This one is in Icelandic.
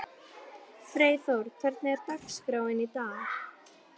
Freyþór, hvernig er dagskráin í dag?